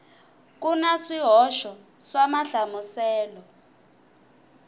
ku na swihoxo swa mahlamuselelo